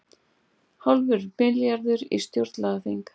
Hálfur milljarður í stjórnlagaþing